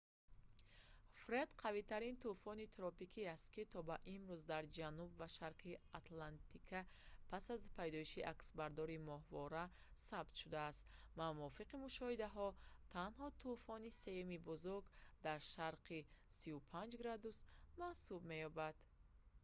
фред қавитарин тӯфони тропикӣ аст ки то ба имрӯз дар ҷануб ва шарқи атлантика пас аз пайдоиши аксбардории моҳвора сабт шудааст ва мувофиқи мушоҳидаҳо танҳо тӯфони сеюми бузург дар шарқи 35 ° w маҳсуб меёбад